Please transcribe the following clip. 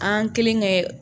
An kelen kɛ